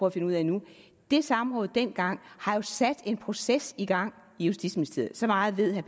at finde ud af nu det samråd vi dengang har jo sat en proces i gang i justitsministeriet så meget ved herre